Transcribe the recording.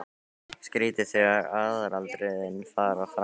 Skrýtið þegar aðalatriðin fara framhjá manni!